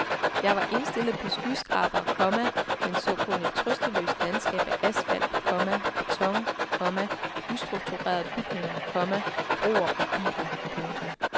Jeg var indstillet på skyskrabere, komma men så kun et trøstesløst landskab af asfalt, komma beton, komma ustrukturerede bygninger, komma broer og biler. punktum